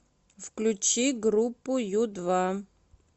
включи группу ю два